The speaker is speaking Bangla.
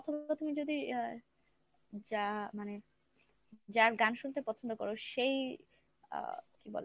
অথবা তুমি যদি এ যা মানে যার গান শুনতে পছন্দ কর সেই আহ কী বলে